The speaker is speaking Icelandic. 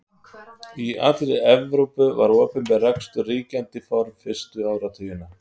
Í allri Evrópu var opinber rekstur ríkjandi form fyrstu áratugina.